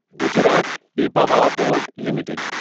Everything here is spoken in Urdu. Gujarat Pipavav port limited